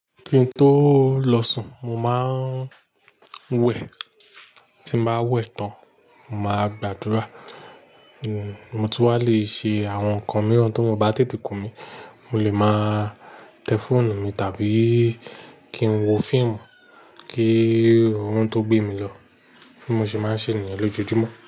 Kí n tó lọ sùn mo máa ń wẹ̀, tí n bá wẹ̀ tán, mo máa gbàdúrà. Mo tún wà le ṣe àwọn nǹkan mìíràn tí orun ò bá tètè kùn mí, mo lè máa tẹ fóònù mi tàbí kí n wo fíìmù, kí orun tó gbé mi lọ, bí mo ṣe máa ṣe nìyẹn lójojúmọ́